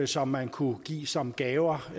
som man kunne give som gaver og